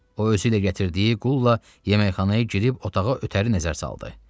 O özüylə gətirdiyi qulla yeməkxanaya girib otağa ötəri nəzər saldı.